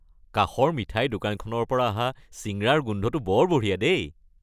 কাষৰ মিঠাইৰ দোকানখনৰ পৰা অহা চিঙৰাৰ গোন্ধটো বৰ বঢ়িয়া দেই।